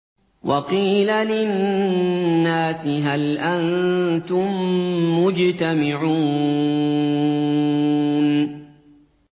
وَقِيلَ لِلنَّاسِ هَلْ أَنتُم مُّجْتَمِعُونَ